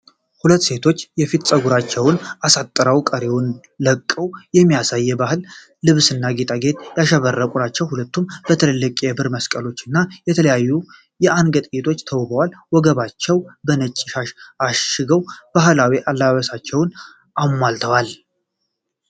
ሁለት ሴቶች የፊት ጸጉራቸውን አሳስረው ቀሪውን ለቀው በሚያምር የባህል ልብስና ጌጣጌጥ ያሸበረቁ ናቸው። ሁለቱም በትልልቅ የብር መስቀሎች እና በተለያዩ የአንገት ጌጦች ተውበዋል። ወገባቸውን በነጭ ሻሽ አሽገው ባህላዊ አለባበሳቸውን አሟልተዋል።